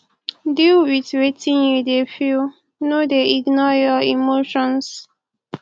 deal with wetin you de feel no de ignore your emotions